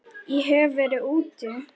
Ég hef verið úti.